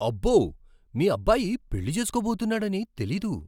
అబ్బో! మీ అబ్బాయి పెళ్లి చేసుకోబోతున్నాడని తెలీదు!